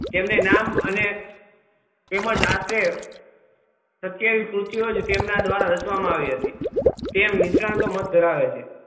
તેમને નામ અને તેમજ આ છે સીત્યાવીસ શ્રુત્યો તેમના દ્વારા રચવા માં આવી હતી તેમ નિષ્ણાત મધ્ય ધરાવે છે